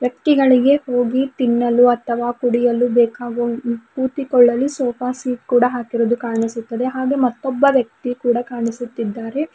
ವ್ಯಕ್ತಿಗಳಿಗೆ ಗೋಬಿ ತಿನ್ನಲು ಅಥವಾ ಕುಡಿಯಲು ಬೇಕಾಗುವ ಕೂತಿಕೊಳ್ಳಲು ಸೋಫಾ ಸೀಟ್ ಕೂಡ ಹಾಕಿರುವುದು ಕಾಣಿಸುತ್ತದೆ ಹಾಗೆ ಮತ್ತೊಬ್ಬ ವ್ಯಕ್ತಿ ಕೂಡ ಕಾಣಿಸುತ್ತಿದ್ದಾರೆ.